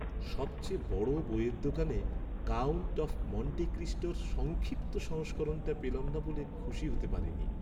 সবচেয়ে বড় বইয়ের দোকানে "কাউন্ট অফ মন্টে ক্রিস্টোর" সংক্ষিপ্ত সংস্করণটা পেলাম না বলে খুশি হতে পারিনি।